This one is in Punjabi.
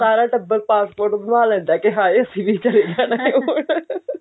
ਸਾਰਾ ਟੱਬਰ passport ਬਣਵਾ ਲੈਂਦਾ ਕਿ ਅਸੀਂ ਵੀ ਚਲੇ ਜਾਣਾ